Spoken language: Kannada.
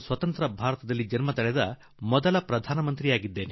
ನಾನು ಸ್ವಾತಂತ್ರ್ಯ ಭಾರತದಲ್ಲಿ ಹುಟ್ಟಿದ ಮೊದಲ ಪ್ರಧಾನಿ